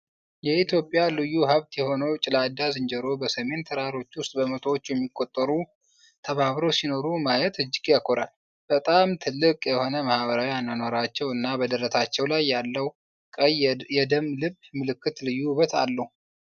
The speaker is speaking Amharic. የኢትዮጵያ ልዩ ሀብት የሆነው ጭላዳ ዝንጀሮ በሰሜን ተራሮች ውስጥ በመቶዎች የሚቆጠሩ ተባብረው ሲኖሩ ማየት እጅግ ያኮራል! በጣም ትልቅ የሆነ ማኅበራዊ አኗኗራቸው እና በደረታቸው ላይ ያለው ቀይ " የደም ልብ " ምልክት ልዩ ውበት አለው።